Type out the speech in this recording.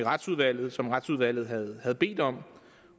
retsudvalget som retsudvalget havde havde bedt om